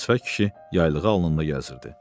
Qırmızı sifət kişi yaylığı alnında gəzdirirdi.